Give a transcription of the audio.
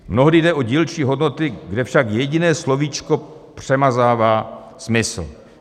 Mnohdy jde o dílčí hodnoty, kde však jediné slovíčko přemazává smysl.